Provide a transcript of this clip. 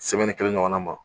kelen ɲɔgɔn na ma.